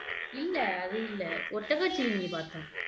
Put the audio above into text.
இல்ல அது இல்ல ஒட்டகச்சிவிங்கி பாத்தோம்